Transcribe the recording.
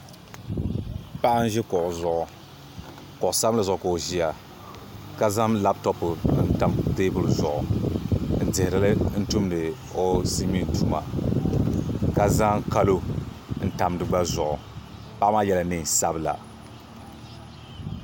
Paɣa n ʒi kuɣu zuɣu kuɣu sabinli zuɣu ka o ʒiya ka zaŋ labtop n tam teebuli zuɣu n dihirili n tumdi o silmiin tuma ka zaŋ kalo n tam di gba zuɣu paɣa maa yɛla neen sabila